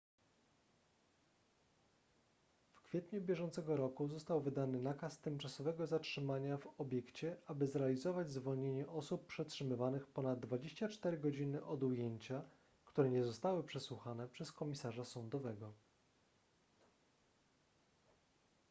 w kwietniu bieżącego roku został wydany nakaz tymczasowego zatrzymania w obiekcie aby zrealizować zwolnienie osób przetrzymywanych ponad 24 godziny od ujęcia które nie zostały przesłuchane przez komisarza sądowego